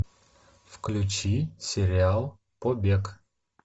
включи сериал побег